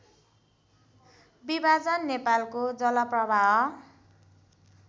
विभाजन नेपालको जलप्रवाह